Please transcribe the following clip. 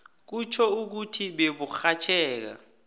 kutjho ukuthi beburhatjheka